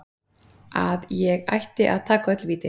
Að ég ætti að taka öll víti